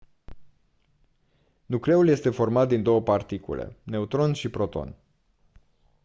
nucleul este format din 2 particule neutroni și protoni